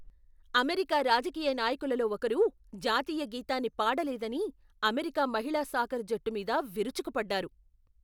America రాజకీయ నాయకులలో ఒకరు, జాతీయ గీతాన్ని పాడలేదని, అమెరికా మహిళా సాకర్ జట్టు మీద విరుచుకుపడ్డారు.